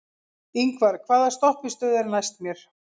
Yngvar, hvaða stoppistöð er næst mér?